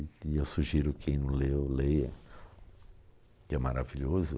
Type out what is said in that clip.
E eu sugiro que quem não leu, leia, que é maravilhoso.